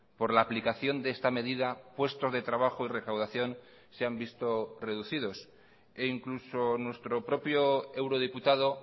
por la aplicación de esta medida puestos de trabajo y recaudación se han visto reducidos e incluso nuestro propio eurodiputado